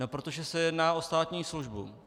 No protože se jedná o státní službu.